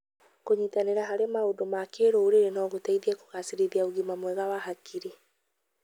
kũnyitanĩra harĩ maũndũ ma kĩrũrĩrĩ no gũteithie kũgacĩrithia ũgima mwega wa hakiri.